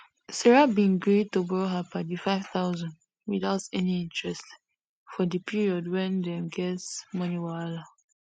sarah bin gree to borrow her padi 5000 without any interest for di period wen dem get money wahala